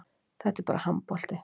Þetta er bara handbolti